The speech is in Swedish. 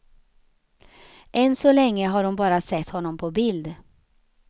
Än så länge har hon bara sett honom på bild.